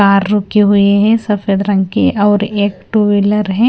Car रुकी हुए हैं सफेद रंग के और एक टू व्हीलर है।